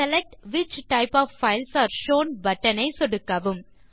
select which types of files are shown button ஐ சொடுக்கவும்